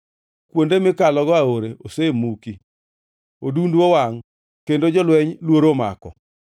kuonde mikalogo aora osemuki, odundu wangʼ, kendo jolweny luoro omako.”